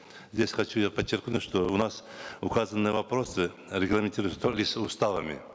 здесь хочу я подчеркнуть что у нас указанные вопросы регламентируются только лишь уставами